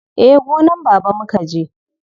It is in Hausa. Eh, gonan baba mukaje.